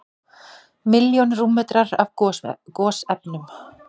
Milljón rúmmetrar af gosefnum